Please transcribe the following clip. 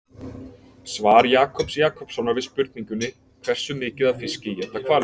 Svar Jakobs Jakobssonar við spurningunni Hversu mikið af fiski éta hvalir?